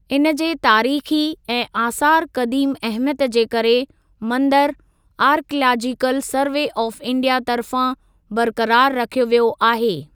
इन जे तारीख़ी ऐं आसारु क़दीम अहमियत जे करे मंदिरु आर्कयालाजीकल सर्वे ऑफ़ इंडिया तर्फ़ां बरक़रार रखियो वियो आहे।